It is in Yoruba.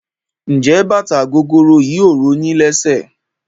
Njé bàtà gogoro yìí ò ro yín lésè?